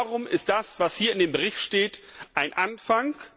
Darum ist das, was hier in dem Bericht steht, ein Anfang.